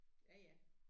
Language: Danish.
Ja ja